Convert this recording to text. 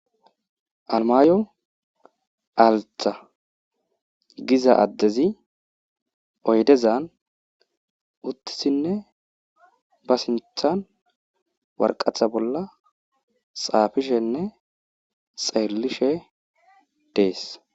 Almayo alta giza adezi oydezan utidinne ba sinthani waraqata bolla xaafishenne xelishe Desi.